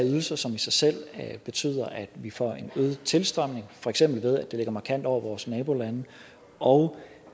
ydelser som i sig selv betyder at vi får en øget tilstrømning for eksempel ved at de ligger markant over vores nabolandes og